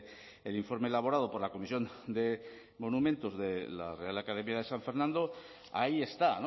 el informe elaborado por la comisión de monumentos de la real academia de san fernando ahí está